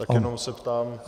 Tak jenom se ptám.